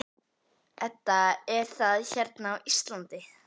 Edda: Er það hérna á Íslandi?